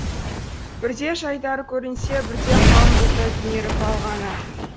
бірде жайдары көрінсе бірде қалың бұлттай түнеріп алғаны